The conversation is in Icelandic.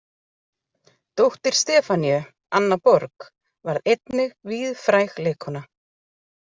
Dóttir Stefaníu, Anna Borg, varð einnig víðfræg leikkona.